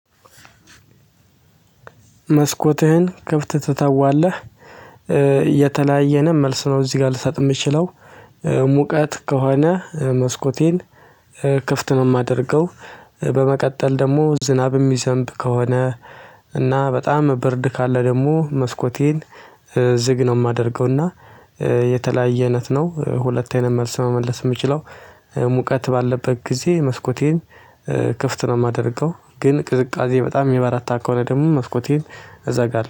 መስኮትህን ክፍት ትተዋለህ? የተለያየንም መልስ ነው እዚህ ጋር ልሳጥ የምችለው። ሙቀት ከሆነ መስኮቴን ክፍት ነው የማደርገው። በመቀጠል ደግሞ ዝናብ የሚዘንብ ከሆነ እና በጣም ብርድ ካለ ደግሞ መስኮቴን ዝግ ነው የማደርገው። እና የተለያየ አይነት ነው ሁለት አይነት መልስ መመለስ የምችለው። ሙቀት ባለበት ጊዜ መስኮቴን ክፍት ነው የማደርገው ግን ቅዝቃዜ በጣም ሚበረታ ከሆነ ደግሞ መስኮቴን እዛ ጋር